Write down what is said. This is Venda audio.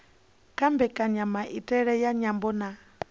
kha mbekanyamaitele ya nyambo na